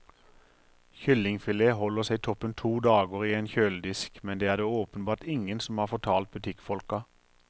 Kyllingfilet holder seg toppen to dager i en kjøledisk, men det er det åpenbart ingen som har fortalt butikkfolka.